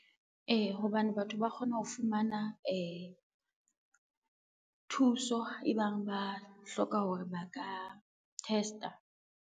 Ee, hobane batho ba kgona ho fumana, thuso e bang ba hloka hore ba ka test-a.